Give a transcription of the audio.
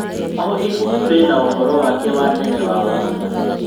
O ibuku rĩna ũhoro wake wa tene wa mwanya.